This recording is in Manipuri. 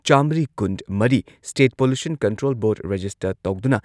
ꯆꯥꯃ꯭ꯔꯤ ꯀꯨꯟꯃꯔꯤ state pollution control board register ꯇꯧꯗꯨꯅ